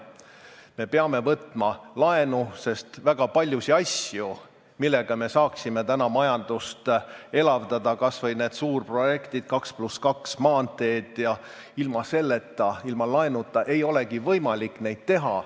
Me peame võtma laenu, sest väga paljusid asju, millega me saaksime täna majandust elavdada, kas või neid suurprojekte, 2 + 2 maanteid, ilma laenuta ei olegi võimalik teha.